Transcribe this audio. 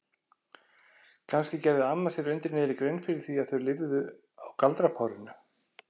Kannski gerði amma sér undir niðri grein fyrir því að þau lifðu á galdrapárinu?